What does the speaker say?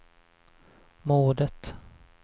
mordet